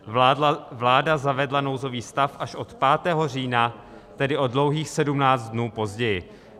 Vláda zavedla nouzový stav až od 5. října, tedy o dlouhých 17 dnů později.